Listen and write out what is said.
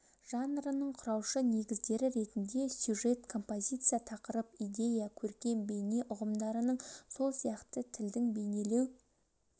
жанрының құраушы негіздері ретінде сюжет композиция тақырып идея көркем бейне ұғымдарының сол сияқты тілдің бейнелеу